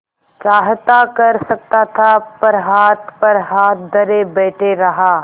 चाहता कर सकता था पर हाथ पर हाथ धरे बैठे रहा